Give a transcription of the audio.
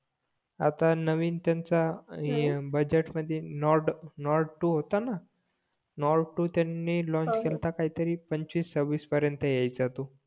आता नवीन त्यांचा बजेट मधी नॉर्ड नॉर्ड टू होता ना नॉर्ड टू त्यांनी लाँच केलंत काही तरी पंचवीस सव्वीस पर्यंत यायचा तो